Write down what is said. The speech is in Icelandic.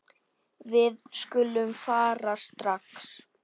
Við skulum fara strax.